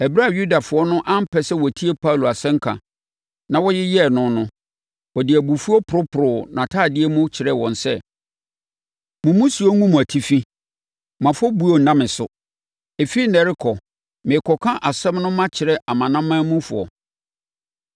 Ɛberɛ a Yudafoɔ no ampɛ sɛ wɔtie Paulo asɛnka, na wɔyeyɛɛ no no, ɔde abufuo poroporoo nʼatadeɛ mu ka kyerɛɛ wɔn sɛ, “Mo mmusuo ngu mo atifi. Mo afɔbuo nna me so. Ɛfiri ɛnnɛ de rekɔ, merekɔka asɛm no makyerɛ amanamanmufoɔ.”